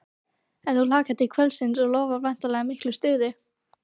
En þú hlakkar til kvöldsins og lofar væntanlega miklu stuði?